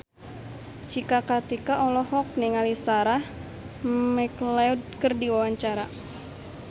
Cika Kartika olohok ningali Sarah McLeod keur diwawancara